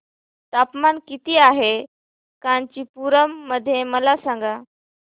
तापमान किती आहे कांचीपुरम मध्ये मला सांगा